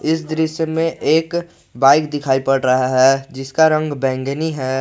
इस दृश्य में एक बाइक दिखाई पड़ रहा है जिसका रंग बैंगनी है।